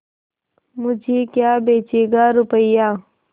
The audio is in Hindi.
मुझे क्या बेचेगा रुपय्या